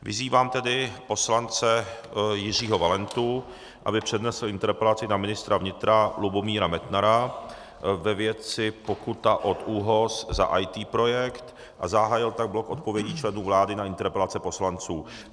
Vyzývám tedy poslance Jiřího Valentu, aby přednesl interpelaci na ministra vnitra Lubomíra Metnara ve věci pokuta od ÚOHS za IT projekt, a zahájil tak blok odpovědí členů vlády na interpelace poslanců.